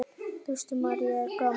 Kristín María: Er gaman?